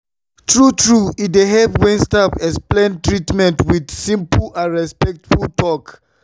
true true e dey help when staff explain treatment with simple and respectful talk.